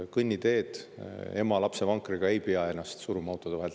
Kõnniteel lapsevankriga ema ei pea ennast autode vahelt läbi suruma.